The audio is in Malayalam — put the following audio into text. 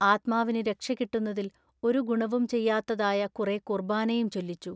ആത്മാവിനു രക്ഷകിട്ടുന്നതിൽ ഒരു ഗുണവും ചെയ്യാത്തതായ കുറെ കുൎബാനയും ചൊല്ലിച്ചു.